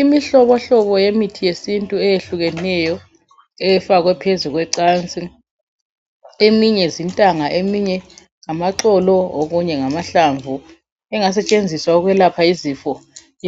Imihlobohlobo yemithi yesintu eyehlukeneyo efakwe phezulu kwecansi eminye zintanga eminye ngamaxolo okunye ngamahlamvu engasetshenziswa ukwelapha izifo